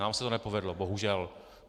Nám se to nepovedlo, bohužel.